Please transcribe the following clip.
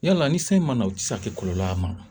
Yala ni sanji ma na u ti se ka kɛ kɔlɔlɔ y'a ma wa